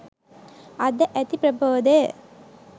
අද ඇති ප්‍රබෝධය